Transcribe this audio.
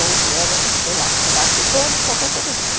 ou vieram, sei lá, por baixo do pano, qualquer coisa assim.